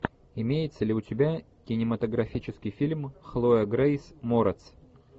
имеется ли у тебя кинематографический фильм хлоя грейс морец